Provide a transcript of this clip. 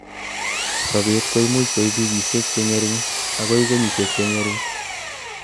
sobet koimuch koib wikisiek chengering agoi kenyisiek chengering